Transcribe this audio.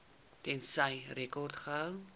tensy rekords gehou